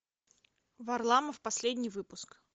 варламов последний выпуск